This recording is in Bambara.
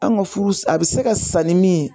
An ka furu a bɛ se ka sa ni min ye